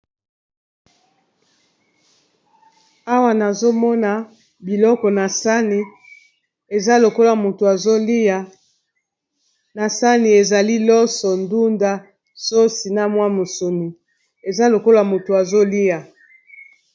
Awa, nazo mona biloko na sani. Eza lokola motu azolia. Na sani, ezali loso, ndunda, sosi na mwa musuni. Eza lokola moto azolia.